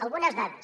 algunes dades